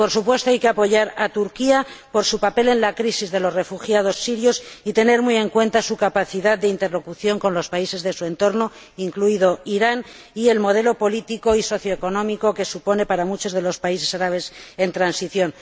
Y, por supuesto, hay que apoyar a Turquía por su papel en la crisis de los refugiados sirios y tener muy en cuenta su capacidad de interlocución con los países de su entorno, incluido Irán, y el modelo político y socioeconómico que supone para muchos de los países árabes en transición.